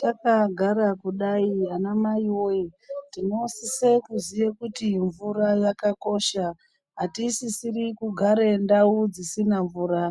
Takagara kudai anamai voye tinosise kuziye kuti mvura yakakosha. Hatisisiri kugara ndau dzisina mvura